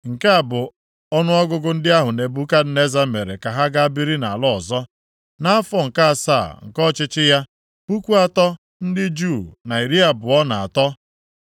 Nke a bụ ọnụọgụgụ ndị ahụ Nebukadneza mere ka ha gaa biri nʼala ọzọ. Nʼafọ nke asaa nke ọchịchị ya, puku atọ ndị Juu na iri abụọ na atọ, 3,023.